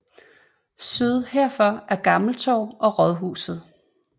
Syd herfor er Gammel Torv og rådhuset